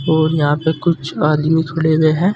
और यहां पे कुछ आदमी खड़े हुए हैं।